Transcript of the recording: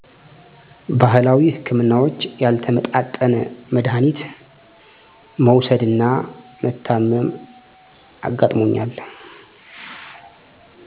ባህላዊ ህክምናዎች ያልተመጣጠነ መዳሀኒት መዉሰድና መታመም አጋጥሞኛል